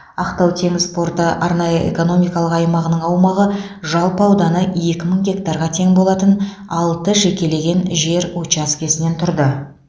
ақтау теңіз порты арнайы экономикалық аймағының аумағы жалпы ауданы екі мың гектарға тең болатын алты жекелеген жер учаскесінен тұрды